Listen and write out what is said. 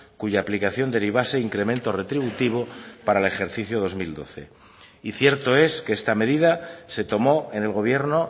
cuya aplicación derivase incremento retributivo para el ejercicio dos mil doce y cierto es que esta medida se tomó en el gobierno